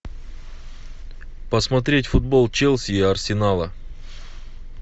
посмотреть футбол челси и арсенала